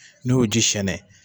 N'o y'o ji siyɛnɛ